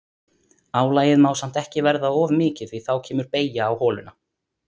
Álagið má samt ekki verða of mikið því að þá kemur beygja á holuna.